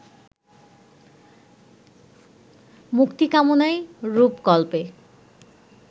মুক্তিকামনায় রূপকল্পে